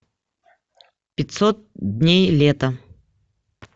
пятьсот дней лета